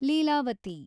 Leelavathi